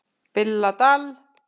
BILLA DAL